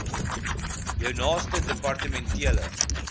jou naaste departementele